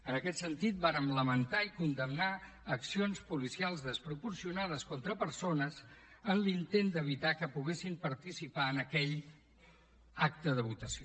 en aquest sentit vàrem lamentar i condemnar accions policials desproporcionades contra persones en l’intent d’evitar que poguessin participar en aquell acte de votació